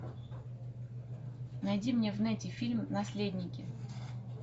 найди мне в нете фильм наследники